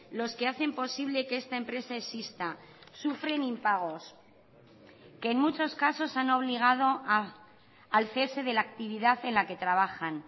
los que hacen posible que esta empresa exista sufren impagos que en muchos casos han obligado al cese de la actividad en la que trabajan